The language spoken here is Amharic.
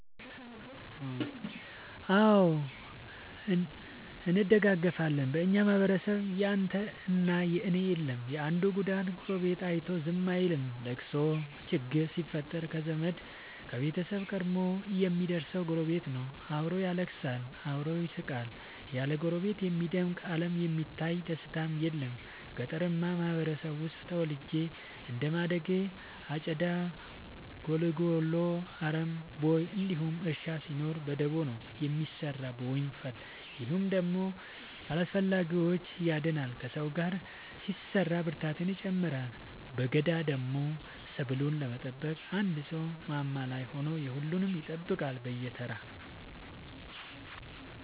አዎ እንደጋገፋለን በኛ ማህበረሰብ ያንተ እና የኔ የለም የአንዱን ጉዳት ጎረቤቱ አይቶ ዝም አይልም። ለቅሶ ችግር ሲፈጠር ከዘመድ ከቤተሰብ ቀድሞ የሚደር ሰው ጎረቤት ነው። አብሮ ያለቅሳል አብሮ ይስቃል ያለ ጎረቤት የሚደምቅ አለም የሚታለፍ ደስታም የለም። ገጠርአማ ማህበረሰብ ውስጥ ተወልጄ እንደማደጌ አጨዳ ጉልጎሎ አረም ቦይ እንዲሁም እርሻ ሲኖር በደቦ ነው የሚሰራው በወንፈል። ይህ ደግሞ ከአላስፈላጊዎቺ ያድናል ከሰው ጋር ሲሰራ ብርታትን ይጨምራል። በገዳደሞ ሰብሉን ለመጠበቅ አንድ ሰው ማማ ላይ ሆኖ የሁሉም ይጠብቃል በየተራ።